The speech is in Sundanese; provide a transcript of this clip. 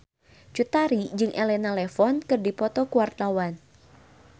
Cut Tari jeung Elena Levon keur dipoto ku wartawan